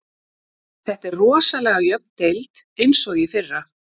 Þetta er rosalega jöfn deild eins og í fyrra.